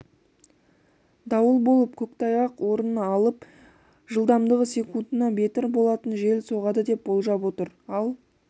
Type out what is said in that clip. дауыл болып көктайғақ орын алып жылдамдығы секундына метр болатын жел соғады деп болжап отыр ал